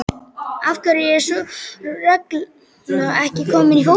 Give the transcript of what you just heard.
Af hverju er sú regla ekki komin í fótbolta?